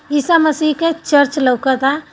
ईसा मसीह के चर्च लौकता।